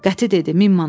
Qəti dedi: min manat.